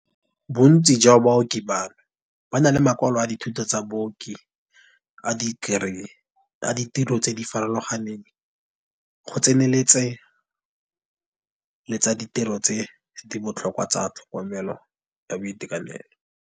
Bontsi jwa baoki bano ba na le makwalo a dithuto tsa baoki a ditekerii, a ditiro tse di farologaneng, go tsenyeletsa le tsa ditiro tse di botlhokwa tsa tlhokomelo ya boitekanelo.